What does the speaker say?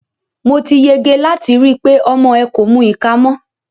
Mo ti yege láti rí i pé ọmọ ẹ kò mu ìka mọ́.